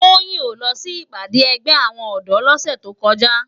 Toyin ó lò si ipàdé ègbè áwòn òdò lòsè tókòjá